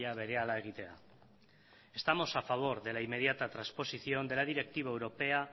berehala egitea estamos a favor de la inmediata transposición de la directiva europea